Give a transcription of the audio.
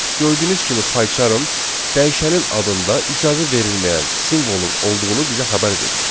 Gördüyünüz kimi Paycharm dəyişənin adında icazə verilməyən simvolun olduğunu bizə xəbər verir.